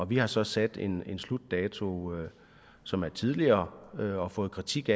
vi har så sat en slutdato som er tidligere og har fået kritik